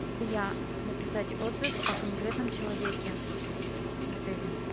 написать отзыв о конкретном человеке в отеле